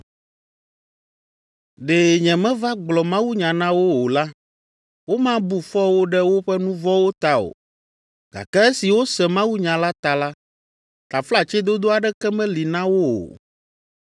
Ɖe nyemeva gblɔ mawunya na wo o la, womabu fɔ wo ɖe woƒe nu vɔ̃wo ta o, gake esi wose mawunya la ta la, taflatsedodo aɖeke meli na wo o.